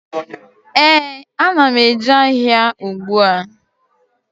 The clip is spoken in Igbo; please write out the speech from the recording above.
Ee, a na m eje ahịa ùgbúà